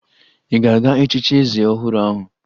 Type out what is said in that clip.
Ị ga-aga echichi eze ọhụrụ ahụ?